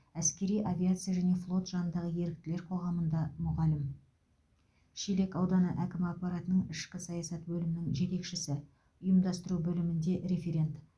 әскери авиация және флот жанындағы еріктілер қоғамында мұғалім шелек ауданы әкім аппаратының ішкі саясат бөлімінің жетекшісі ұйымдастыру бөілмінде референт